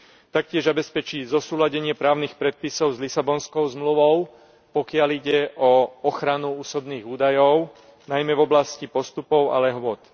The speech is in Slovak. Taktiež zabezpečí zosúladenie právnych predpisov s Lisabonskou zmluvou, pokiaľ ide o ochranu osobných údajov, najmä v oblasti postupov a lehôt.